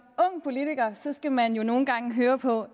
ung politiker skal man jo nogle gange høre på